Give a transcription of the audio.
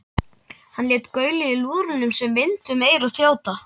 Hann lét gaulið í lúðrinum sem vind um eyru þjóta.